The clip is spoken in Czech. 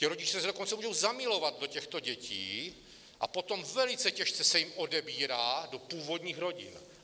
Ti rodiče se dokonce můžou zamilovat do těchto dětí a potom velice těžce se jim odebírá do původních rodin.